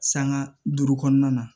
Sanŋa duuru kɔnɔna na